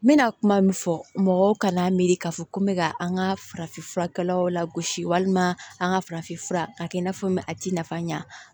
N bɛna kuma min fɔ mɔgɔw kana miiri k'a fɔ ko n bɛ ka an ka farafin furakɛlaw lagosi walima an ka farafinfura k'a kɛ i n'a fɔ n bɛ a t'i nafa ɲa